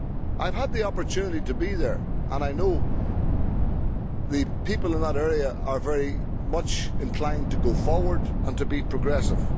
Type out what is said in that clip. I have had the opportunity to go there and I know the people in that area are very much inclined to go forward and to be progressive.